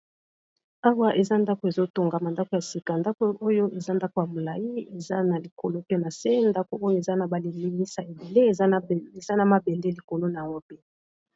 Awa eza ndako ezotongama ndako ya sika ndako oyo eza ndako ya molai eza na likolo pe na se ndako oyo eza na ba lilimisa ebele eza na mabende likolo nango pe.